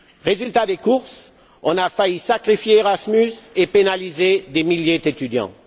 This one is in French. Résultat des courses on a failli sacrifier Erasmus et pénaliser des milliers d'étudiants.